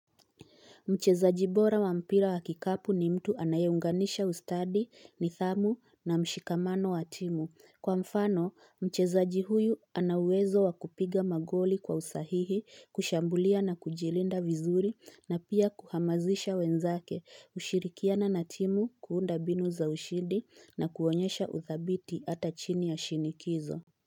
Mcheza jibora wa mpira wa kikapu ni mtu anayeunganisha ustadi ni thamu na mshikamano wa timu. Kwa mfano, mcheza jihuyu anauwezo wa kupiga magoli kwa usahihi, kushambulia na kujilinda vizuri na pia kuhamazisha wenzake, ushirikiana na timu kuunda mbinu za ushidi na kuonyesha uthabiti hata chini ya shinikizo.